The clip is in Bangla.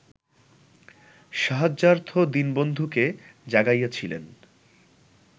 সাহায্যার্থ দীনবন্ধুকে জাগাইয়াছিলেন